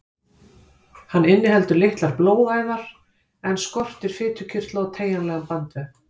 Hann inniheldur litlar blóðæðar en skortir fitukirtla og teygjanlegan bandvef.